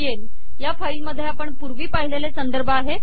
BBL या file मध्ये आपण पुर्वी पाहिलेले संदर्भ आहेत